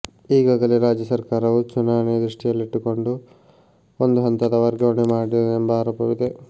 ಈಗಾಗಲೇ ರಾಜ್ಯ ಸರ್ಕಾರವು ಚುನಾವಣೆ ದೃಷ್ಟಿಯಲ್ಲಿಟ್ಟುಕೊಂಡು ಒಂದು ಹಂತದ ವರ್ಗಾವಣೆ ಮಾಡಿದೆ ಎಂಬ ಆರೋಪವಿದೆ